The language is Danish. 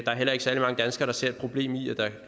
er heller ikke særlig mange danskere der ser et problem i at der